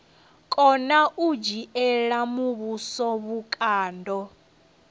kona u dzhiela muvhuso vhukando